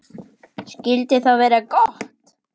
Skyldi það vera gott?